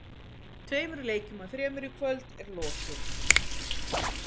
Tveimur leikjum af þremur í kvöld er lokið.